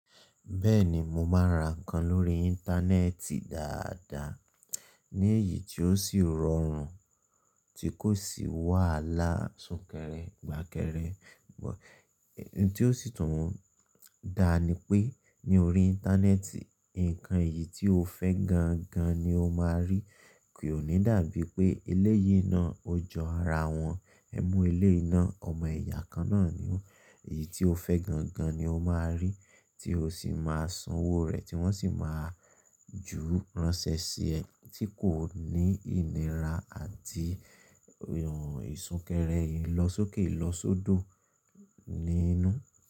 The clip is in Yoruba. Bẹ́ẹ̀ni, mo máa ra nǹkan lórí Íńtánẹ́ẹ̀tì dáadáa, ní èyí tí ó sì rọrùn, tí kò sì wàhálà súnkẹrẹ, fàkẹrẹ. Bút n tí ó sì tún dá ni pé ní orí Íńtánẹ́ẹ̀tì, ǹnkan èyí tí o fẹ́ gan gan ni o máa rí, kì òní dàbí pé eléyìí náà ó jọ ara wọn, ẹ mu eléyìí náà, ọmọ ẹ̀yà kan náà ni ó. Èyí tí o fẹ́ gan gan ni o máa rí, tí o sì máa san owó rẹ̀ tí wọ́n sì máa jú ránṣẹ́ sí ẹ, tí kò ní ìnira àti ìsunkẹrẹ ìlọsókè ìlọsódò nínú.